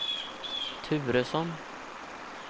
Turesson